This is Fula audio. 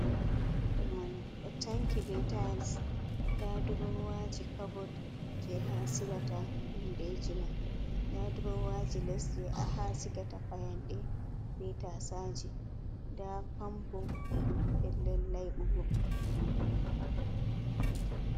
Kishin jezamanu, o tanki be tayis. Nda durowaji caboot je ha a silata hundeji ma. Nda durowaji les ha a sigata fayande be tasaje. Nda pampo pellel layɓugo.